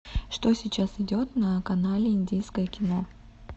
что сейчас идет на канале индийское кино